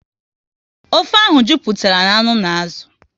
Ofe ahụ jupụtara na anụ n'azụ